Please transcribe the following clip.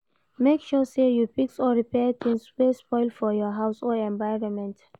make sure say you fix or repair things wey spoil for your house or environment